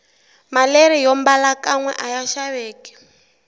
maleri yombala kanwe aya xaveki